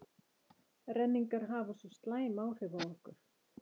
renningar hafa svo slæm áhrif á okkur.